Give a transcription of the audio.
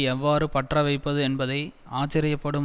எவ்வாறு பற்ற வைப்பது என்பதை ஆச்சரியப்படும்